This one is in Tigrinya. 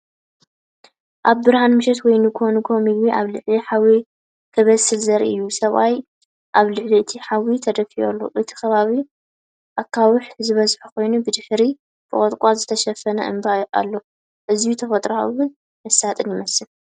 ኣብ ብርሃን ምሸት ወይ ንግሆ ንግሆ፡ ምግቢ ኣብ ልዕሊ ሓዊ ክብሰል ዘርኢ እዩ! ሰብኣይ ኣብ ልዕሊ እቲ ሓዊ ተደፊኡ ኣሎ። እቲ ከባቢ ኣኻውሕ ዝበዝሖ ኮይኑ፡ ብድሕሪት ብቆጥቋጥ ዝተሸፈነ እምባ ኣሎ። ኣዝዩ ተፈጥሮኣውን መሳጥን ይመስል